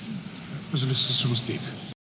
үзіліссіз жұмыс істейік